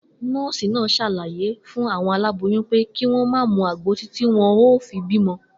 Nó̩ò̩sì náà s̩àlàyé fún àwo̩n aláboyún pé kí wó̩n má mu àgbo títí wo̩n óò fi bímo̩